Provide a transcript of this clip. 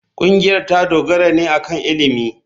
Ƙungiyar ta dogara ne akan ilimi.